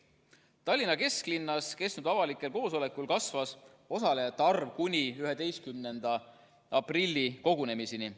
Tallinna kesklinnas peetud avalikel koosolekutel kasvas osalejate arv kuni 11. aprilli kogunemiseni.